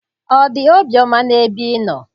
Ọ dị obiọma n'ebe ị nọ?